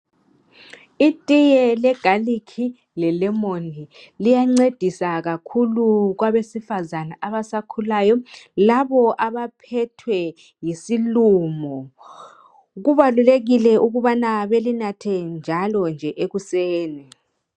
Itiye le garlic le lemon liyancedisa kakhulu kwabesifazana abasakhulayo labo abaphethwe yisilumo, kubalulekile ukuthi balinathe njalo nje ekuseni.